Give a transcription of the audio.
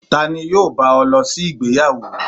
Tani yọọ ba o losí ìgbéyàwó?